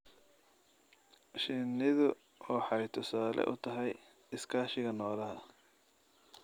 Shinnidu waxay tusaale u tahay iskaashiga noolaha.